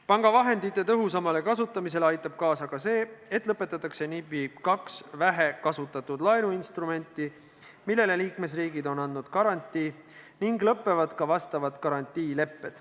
Panga vahendite tõhusamale kasutamisele aitab kaasa ka see, et lõpetatakse NIB-i kaks vähekasutatud laenuinstrumenti, millele liikmesriigid on andnud garantii, ning lõppevad ka vastavad garantiilepped.